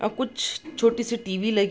और कुछ छोटी-सी टी.वी. लगी --